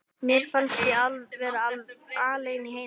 Mér fannst ég vera alein í heiminum.